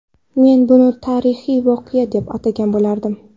Men buni tarixiy voqea deb atagan bo‘lardim.